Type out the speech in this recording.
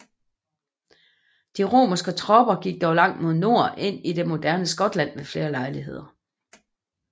De romerske tropper gik dog langt mod nord ind i det moderne Skotland ved flere lejligheder